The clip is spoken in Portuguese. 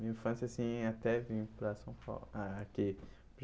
Minha infância, assim, até vim para São Paulo... Ah, aqui.